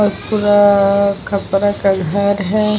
और पूरा खपरा का घर है ।